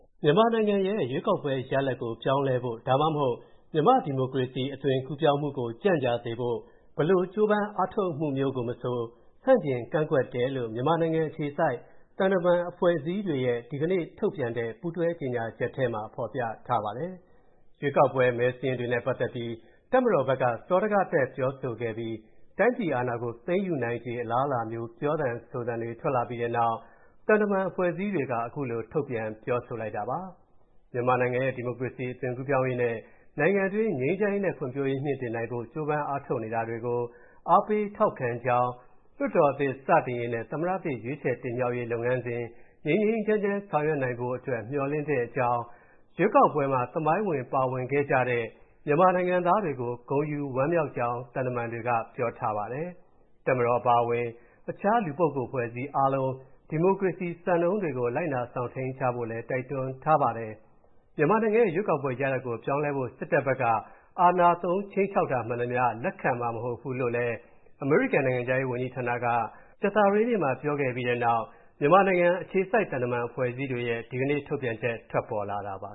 မြန်မာနိုင်ငံရဲ့ ရွေးကောက်ပွဲရလဒ်ကို ပြောင်းလဲဖို့ ဒါမှမဟုတ် မြန်မာ့ ဒီမိုကရေစီ အသွင်ကူးပြောင်းမှုကို ကြန့်ကြာစေဖို့ ဘယ်လို ကြိုးပမ်းအားထုတ်မှုမျိုးကိုမဆို ဆန့်ကျင် ကန့်ကွက်တယ်လို့ မြန်မာနိုင်ငံအခြေစိုက် သံတမန်အဖွဲ့အစည်းတွေရဲ့ ဒီကနေ့ထုတ်ပြန်တဲ့ ပူးတွဲကြေညာချက်ထဲမှာ ဖော်ပြထားပါတယ်။ ရွေးကောက်ပွဲ မဲစာရင်းတွေနဲ့ပတ်သက်ပြီး တပ်မတော်ဘက်က စောဒကတက် ပြောဆိုခဲ့ပြီး တိုင်းပြည်အာဏာကို သိမ်းယူနိုင်ခြေ အလားအလာမျိုး ပြောဆိုသံတွေ ထွက်လာပြီးတဲ့နောက် သံတမန်အဖွဲ့အစည်းတွေက အခုလို ထုတ်ပြန် ပြောဆိုလိုက်တာပါ။ မြန်မာနိုင်ငံရဲ့ ဒီမိုကရေစီ အသွင်ကူးပြောင်းရေးနဲ့ နိုင်ငံတွင်း ငြိမ်းချမ်းရေးနဲ့ ဖွံ့ဖြိုးရေးမြှင့်တင်နိုင်ဖို့ ကြိုးပမ်းအားထုတ်နေတာကို အားပေးထောက်ခံကြောင်း၊ လွှတ်တော်သစ် စတင်ရေးနဲ့ သမ္မတသစ် ရွေးချယ်တင်မြှောက်ရေးလုပ်ငန်းစဉ် ငြိမ်းငြိမ်းချမ်းချမ်း ဆောင်ရွက်နိုင်ဖို့အတွက် မေ ျှာ်လင့်တဲ့အကြောင်း၊ ရွေးကောက်ပွဲမှာ သမိုင်းဝင် ပါဝင်ခဲ့ကြတဲ့ မြန်မာနိုင်ငံသားတွေကို ဂုဏ်ယူဝမ်းမြောက်ကြောင်း သံတမန်တွေက ပြောထားပါတယ်။ တပ်မတော်အပါအဝင် တခြား လူပုဂ္ဂိုလ် အဖွဲ့အစည်းအားလုံး ဒီမိုကရေစီစံနှုန်းတွေကို လိုက်နာ စောင့်ထိန်းကြပါလို့လည်း တိုက်တွန်းထားပါတယ်။ မြန်မာနိုင်ငံရဲ့ ရွေးကောက်ပွဲရလဒ်ကို ပြောင်းလဲဖို့ စစ်ဘက်က အင်အားသုံး ခြိမ်းခြောက်တာမှန်သမ ျှ လက်ခံမှာ မဟုတ်ဘူးလို့ အမေရိကန်နိုင်ငံခြားရေးဌာနက ကြာသပတေးနေ့မှာ ပြောခဲ့ပြီးတဲ့နောက် မြန်မာနိုင်ငံအခြေစိုက် သံတမန်အဖွဲ့အစည်းတွေရဲ့ ဒီကနေ့ထုတ်ပြန်ချက် ထွက်လာတာပါ